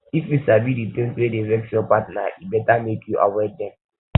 if you sabi di tins wey dey vex your partner e beta make you avoid dem